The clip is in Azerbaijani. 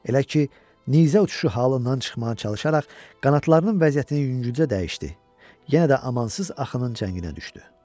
Elə ki, nizə uçuşu halından çıxmağa çalışaraq qanadlarının vəziyyətini yüngülcə dəyişdi, yenə də amansız axının cənginə düşdü.